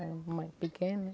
Era mais pequeno, né?